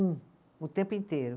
Um, o tempo inteiro.